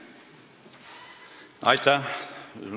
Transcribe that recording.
Aitäh!